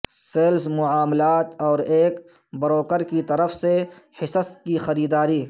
sales معاملات اور ایک بروکر کی طرف سے حصص کی خریداری